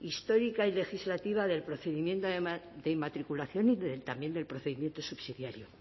histórica y legislativa del procedimiento de inmatriculación y también del procedimiento subsidiario